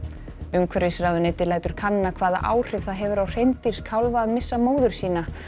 umhverfisráðuneytið lætur kanna hvaða áhrif það hefur á hreindýrskálfa að missa móður sína